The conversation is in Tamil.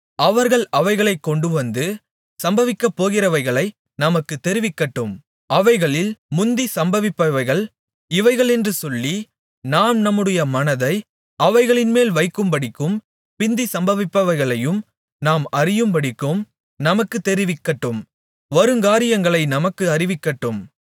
அவர்கள் அவைகளைக் கொண்டுவந்து சம்பவிக்கப்போகிறவைகளை நமக்குத் தெரிவிக்கட்டும் அவைகளில் முந்தி சம்பவிப்பவைகள் இவைகளென்று சொல்லி நாம் நம்முடைய மனதை அவைகளின்மேல் வைக்கும்படிக்கும் பிந்தி சம்பவிப்பவைகளையும் நாம் அறியும்படிக்கும் நமக்குத் தெரிவிக்கட்டும் வருங்காரியங்களை நமக்கு அறிவிக்கட்டும்